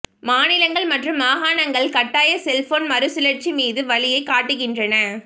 மாநிலங்கள் மற்றும் மாகாணங்கள் கட்டாய செல்போன் மறுசுழற்சி மீது வழியைக் காட்டுகின்றன